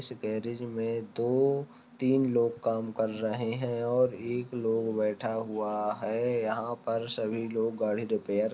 इस गेराज़ में दो तीन लोग काम कर रहे है और एक लोग बैठा हुआ है यहाँ पर सभी लोग गाड़ी रिपेयर --